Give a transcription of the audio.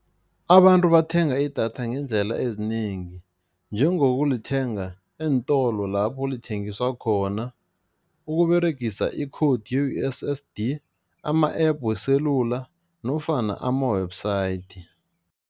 Abantu bathenga idatha ngeendlela ezinengi, njengokulithenga eentolo lapho lithengiswa khona, ukUberegisa i-code ye-U_S_S_D, ama-app weselula nofana ama-website.